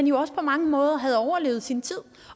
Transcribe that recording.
jo også på mange måder overlevet sin tid